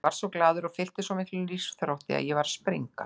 Ég varð svo glaður og fylltist svo miklum lífsþrótti að ég var að springa.